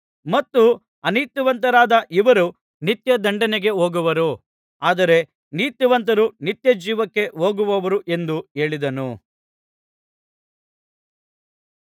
ಮತ್ತು ಅನೀತಿವಂತರಾದ ಇವರು ನಿತ್ಯದಂಡನೆಗೆ ಹೋಗುವರು ಆದರೆ ನೀತಿವಂತರು ನಿತ್ಯಜೀವಕ್ಕೆ ಹೋಗುವರು ಎಂದು ಹೇಳಿದನು